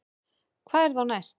Hvað er þá næst